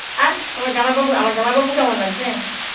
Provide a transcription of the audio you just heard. আর আমার জামাইবাবু আমার জামাইবাবু কেমন আছে?